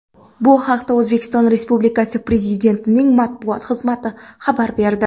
Bu haqda O‘zbekiston Respublikasi Prezidentining matbuot xizmati xabar berdi .